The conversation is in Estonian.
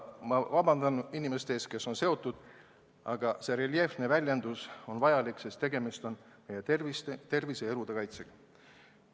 Ma vabandan inimeste ees, kes on sellega seotud, aga niisugune reljeefne väljendus on vajalik, sest tegemist on meie tervise ja elu kaitsega.